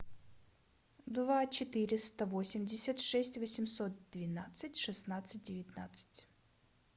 два четыреста восемьдесят шесть восемьсот двенадцать шестнадцать девятнадцать